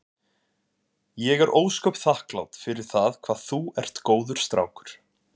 Ég er ósköp þakklát fyrir það hvað þú ert góður strákur.